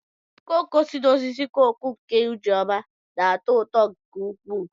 koko si n'osisi koko nke Ijeoma na-atọ ụtọ nke ukwuu.